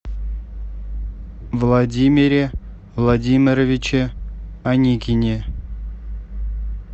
владимире владимировиче аникине